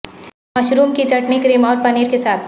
mushroom کی chutney cream اور پنیر کے ساتھ